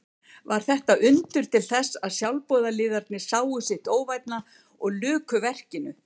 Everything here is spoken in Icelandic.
Varð þetta undur til þess að sjálfboðaliðarnir sáu sitt óvænna og luku verkinu.